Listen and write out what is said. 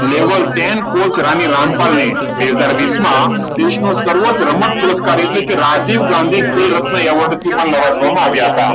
level ten coach Rani Rampal બે હજાર વીસમાં દેશનું સર્વોચ્ચ રમત પુરસ્કાર એટલે કે રાજીવ ગાંધી ખેલ રત્ન એવોર્ડ થી પણ નવાજવામાં આવ્યા હતા.